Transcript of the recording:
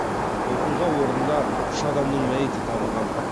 оқиға орнында үш адамның мәйіті табылған